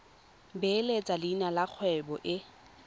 beeletsa leina la kgwebo e